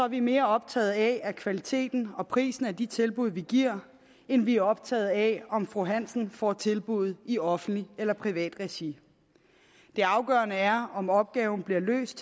vi mere optaget af kvaliteten og prisen på de tilbud vi giver end vi er optaget af om fru hansen får tilbuddet i offentligt eller privat regi det afgørende er om opgaven bliver løst